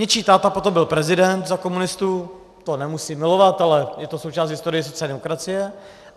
Něčí táta potom byl prezident za komunistů, to nemusím milovat, ale je to součást historie sociální demokracie.